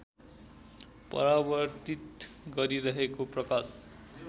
परावर्तित गरिरहेको प्रकाश